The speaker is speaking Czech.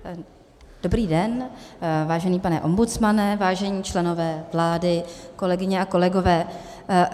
Dobrý den, vážený pane ombudsmane, vážení členové vlády, kolegyně a kolegové.